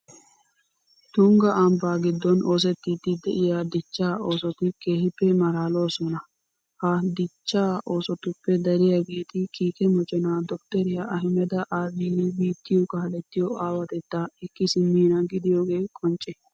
Tungga ambbaa giddon oosettiiddi de'iya dichchaa oosoti keehippe maalaaloosona. Ha dichchaa oosotuppe dariyageeti kiike moconaa doktteriya ahimeda abiyi biittiyo kaalettiyo aawatettaa ekki simmiina gidiyogee qoncce.